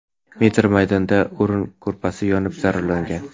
metr maydonda o‘rin-ko‘rpasi yonib zararlangan.